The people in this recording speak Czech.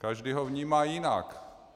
Každý ho vnímá jinak.